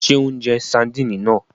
Ṣe o n jẹ Sardini náà?